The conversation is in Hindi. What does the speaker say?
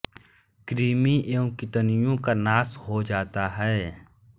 कृमि एवं कितनिओं का नाश हो जाता है